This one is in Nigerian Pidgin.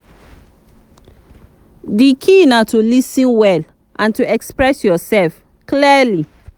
di key na to lis ten well and to express yourself clearly.